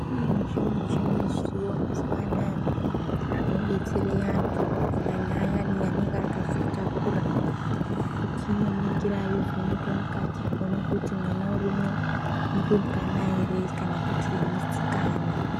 Kune zvimuchini zviriyo mazuwa anaya zvinodetsera antu kunyanya ayani anenge akazvitakura kuti inoningira yovheneka mukati kuona kuti mwana urimo murumbwana ere kana kuti musikana.